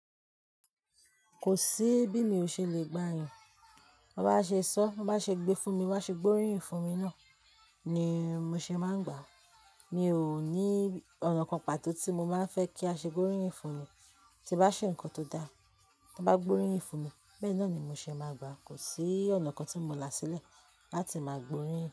Kò sí bí mi ò ṣe lè gba yàn. Bí wọ́n bá ṣe sọ, bá ṣe gbé fún mi, bá ṣe gbóríyìn fún mi náà ni mo ṣe máa ń gbà á. Mi ò ní ọ̀nà kan pàtó tí mo máa ń fẹ́ kí a ṣe gbóríyìn fún mi. Tí bá ṣe ǹkan tó da, tí wọ́n bá gbóríyìn fún mi, bẹ́ẹ̀ náà ni mo ṣe máa gbà á. Kò sí ọ̀nà kan tí mò ń là sílẹ̀ láti máa gbóríyìn.